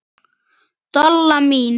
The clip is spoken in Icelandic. Dolla mín.